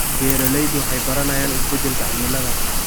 Beeraleydu waxay baranayaan isbeddelka cimilada.